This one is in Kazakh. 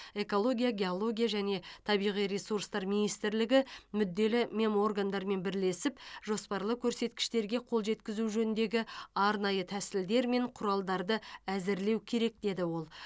экология геология және табиғи ресурстар министрлігі мүдделі меморгандармен бірлесіп жоспарлы көрсеткіштерге қол жеткізу жөніндегі арнайы тәсілдер мен құралдарды әзірлеу керек деді ол